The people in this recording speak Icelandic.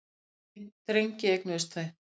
Þrjá drengi eignuðust þau.